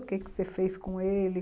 O que você fez com ele?